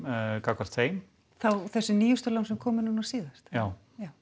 gagnvart þeim þá þessum nýjustu lánum sem komu núna síðast já